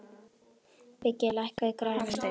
Biggi, lækkaðu í græjunum.